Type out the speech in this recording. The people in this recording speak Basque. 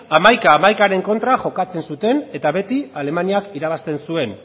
hamaika hamaikaren kontra jokatzen zuten eta beti alemaniak irabazten zuen